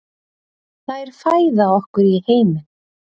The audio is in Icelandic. Þær fæða okkur í heiminn.